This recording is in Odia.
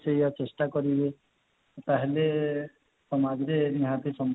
ସେଇଆ ଚେଷ୍ଟା କରିବେ ତା ହେଲେ ସମାଜରେ ନିହାତି